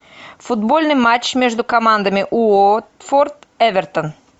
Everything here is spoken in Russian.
футбольный матч между командами уотфорд эвертон